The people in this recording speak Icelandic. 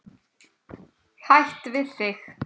Hætt við þig.